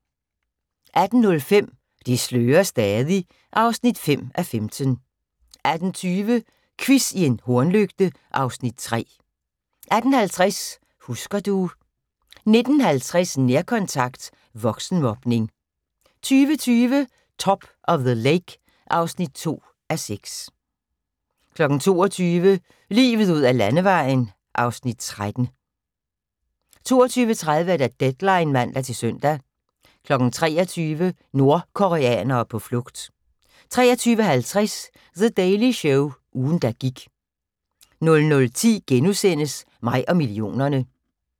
18:05: Det slører stadig (5:15) 18:20: Quiz i en hornlygte (Afs. 3) 18:50: Husker du ... 19:50: Nærkontakt – voksenmobning 20:20: Top of the Lake (2:6) 22:00: Livet ud ad Landevejen (Afs. 13) 22:30: Deadline (man-søn) 23:00: Nordkoreanere på flugt 23:50: The Daily Show – ugen der gik 00:10: Mig og millionerne (1:4)*